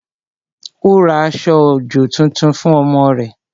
Ó ra aṣọ-òjò tuntun fún ọmọ rẹ̀